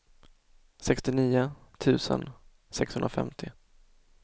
sextionio tusen sexhundrafemtio